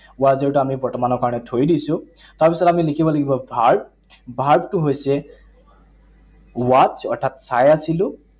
Was were টো আমি বৰ্তমানৰ কাৰণে থৈ দিছো। তাৰপিছত আমি লিখিব লাগিব verb, verb টো হৈছে watch, অৰ্থাৎ চাই আছিলো।